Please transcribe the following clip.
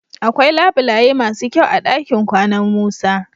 Akwai labulaye masu kyau a dakin kwanan Musa.